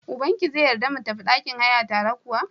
Ubankia zai yarda ka mu tafi ɗakin haya tare kuwa?